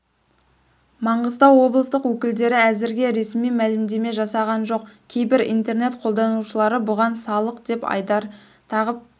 маңғыстау облыстық өкілдері әзірге ресми мәлімдеме жасаған жоқ кейбір интернет қолданушылары бұған салық деп айдар тағып